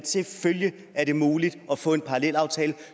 selvfølgelig er det muligt at få en parallelaftale